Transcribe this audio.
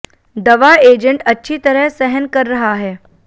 दवा एजेंट अच्छी तरह सहन कर रहा है